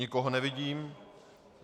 Nikoho nevidím.